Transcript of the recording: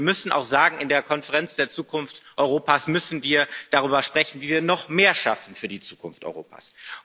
Aber wir müssen auch sagen In der Konferenz zur Zukunft Europas müssen wir darüber sprechen, wie wir noch mehr schaffen für die Zukunft Europas.